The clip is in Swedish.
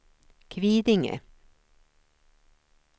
Kvidinge